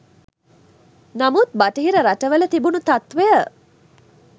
නමුත් බටහිර රටවල තිබුණු තත්ත්වය